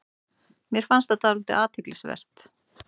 Mér fannst það dálítið athyglisvert